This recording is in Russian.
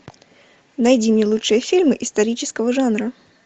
найди мне лучшие фильмы исторического жанра